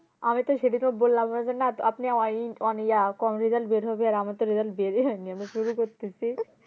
আমি তো সেদিনই তো বললাম আমার জন্য আপনি কম result বের হবে আর আমার তো result বের ই হয়নি আমি শুরু করতেছি